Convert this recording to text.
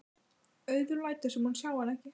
Auður lætur sem hún sjái hana ekki.